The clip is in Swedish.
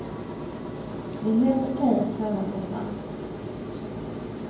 Det är helt okej att pröva sig fram.